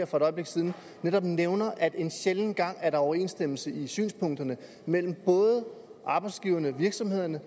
for et øjeblik siden netop nævnte at der en sjælden gang er overensstemmelse i synspunkterne mellem arbejdsgiverne og virksomhederne